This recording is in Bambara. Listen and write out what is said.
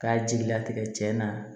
K'a jigilatigɛ tiɲɛ na